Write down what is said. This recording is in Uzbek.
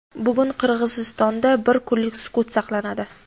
Bugun Qirg‘izistonda bir kunlik sukut saqlanadi.